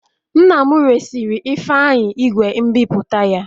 Nna m resịrị Ifeanyi igwe nbipute ya